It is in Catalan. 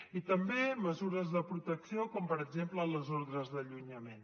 i també mesures de protecció com per exemple les ordres d’allunyament